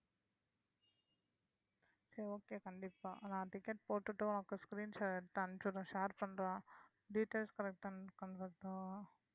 சரி okay கண்டிப்பா நான் ticket போட்டுட்டு உனக்கு screenshot எடுத்து அனுப்புறேன் share பண்றேன்